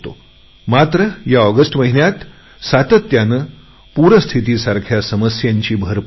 मात्र या ऑगस्ट महिन्यात सातत्याने पूरस्थिती उद्भवते आहे